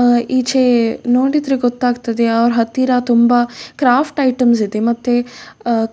ಅಹ್ ಈಚೆ ನೊಡ್ರಿದ್ರೆ ಗೊತ್ತಾಗುತ್ತದೆ ಅವ್ರ್ ಹತ್ತಿರ ತುಂಬ ಕ್ರಾಫ್ಟ್ ಐಟೆಮ್ಸ ಇದೆ